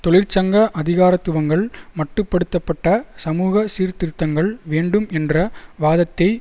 தொழிற்சங்க அதிகாரத்துவங்கள் மட்டு படுத்த பட்ட சமூக சீர்திருத்தங்கள் வேண்டும் என்ற வாதத்தை